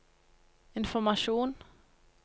informasjon